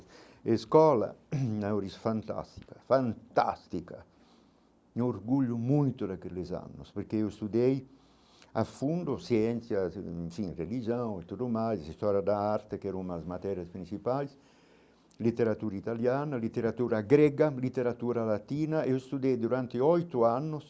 A escola, na hora, é fantástica, fantástica, me orgulho muito daqueles anos, porque eu estudei, a fundo, ciências, enfim, religião e tudo mais, a história da arte, que eram as matérias principais, literatura italiana, literatura grega, literatura latina, eu estudei durante oito anos,